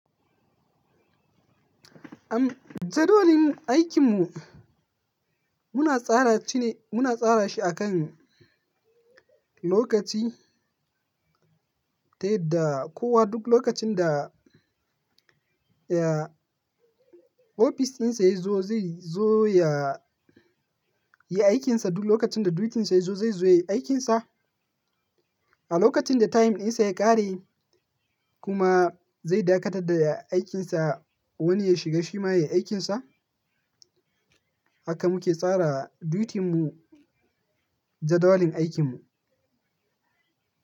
Am jadawalin aikinmu muna tsara shi ne, muna tsara shi akan lokaci. Ta yadda kowa duk lokacin da, ya, ofis ɗinsa ya zo zai zo ya yi aikinsa, duk lokacin da dutinsa ya zo zai zo ya yi aikinsa. A lokacin da time ɗinsa ya ƙare kuma zai dakatar da aikinsa wani ya shiga shi ma ya yi aikinsa. Haka muke tsara duty mu jadawalin aikinmu.